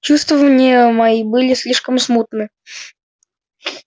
чувствования мои были слишком смутны